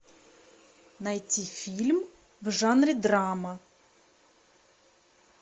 найти фильм в жанре драма